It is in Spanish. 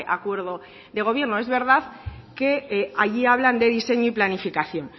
acuerdo de gobierno es verdad que allí hablan de diseño y planificación